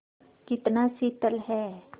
कितना शीतल है